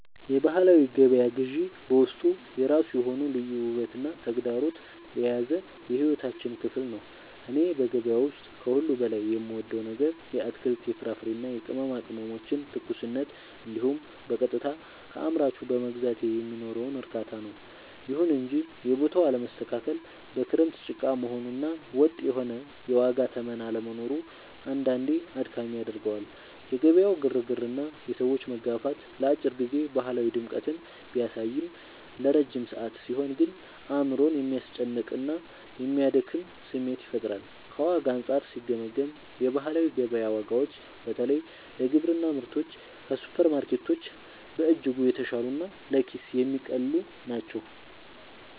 የባህላዊ ገበያ ግዢ በውስጡ የራሱ የሆነ ልዩ ውበትና ተግዳሮት የያዘ የሕይወታችን ክፍል ነው። እኔ በገበያ ውስጥ ከሁሉ በላይ የምወደው ነገር የአትክልት፣ የፍራፍሬና የቅመማ ቅመሞችን ትኩስነት እንዲሁም በቀጥታ ከአምራቹ በመግዛቴ የሚኖረውን እርካታ ነው። ይሁን እንጂ የቦታው አለመስተካከል፣ በክረምት ጭቃ መሆኑ እና ወጥ የሆነ የዋጋ ተመን አለመኖሩ አንዳንዴ አድካሚ ያደርገዋል። የገበያው ግርግርና የሰዎች መጋፋት ለአጭር ጊዜ ባህላዊ ድምቀትን ቢያሳይም፣ ለረጅም ሰዓት ሲሆን ግን አእምሮን የሚያስጨንቅና የሚያደክም ስሜት ይፈጥራል። ከዋጋ አንጻር ሲገመገም፣ የባህላዊ ገበያ ዋጋዎች በተለይ ለግብርና ምርቶች ከሱፐርማርኬቶች በእጅጉ የተሻሉና ለኪስ የሚቀልሉ ናቸው።